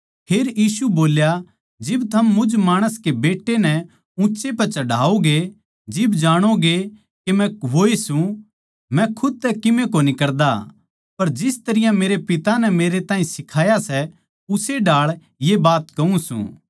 फेर यीशु बोल्या जिब थम मुझ माणस कै बेट्टै नै ऊँच्चै पै चढ़ाओगे जिब जाणोगे के मै वोए सूं मै खुद तै किमे कोनी करदा पर जिस तरियां मेरै पिता नै मेरै ताहीं सिखाया सै उस्से ढाळ ये बात कहूँ सूं